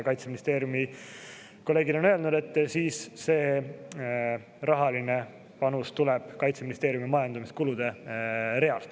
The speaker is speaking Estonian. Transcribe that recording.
Kaitseministeeriumi kolleegid on öelnud, et siis see rahaline panus tuleb Kaitseministeeriumi majandamiskulude realt.